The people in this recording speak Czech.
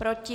Proti?